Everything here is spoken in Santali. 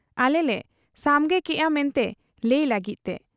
ᱟᱞᱮᱞᱮ ᱥᱟᱢᱜᱮ ᱠᱮᱜ ᱟ ᱢᱮᱱᱛᱮ ᱞᱟᱹᱭ ᱞᱟᱹᱜᱤᱫ ᱛᱮ ᱾